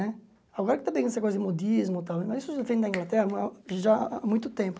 Né agora que está vindo essa coisa de modismo tal, mas isso já vem da Inglaterra ó já há muito tempo.